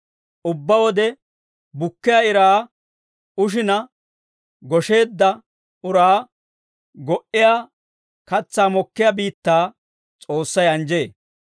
Ubbaa wode bukkiyaa iraa ushina, gosheedda uraa go"iyaa katsaa mokkiyaa biittaa S'oossay anjjee.